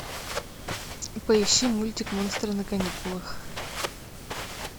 поищи мультик монстры на каникулах